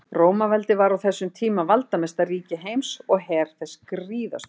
Rómaveldi var á þessum tíma valdamesta ríki heims og her þess gríðarstór.